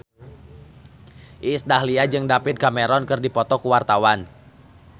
Iis Dahlia jeung David Cameron keur dipoto ku wartawan